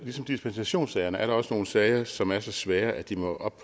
dispensationssager er der også nogle sager som er så svære at de må op